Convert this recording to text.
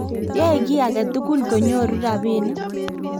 yoe kiy age tugul konyoru robinik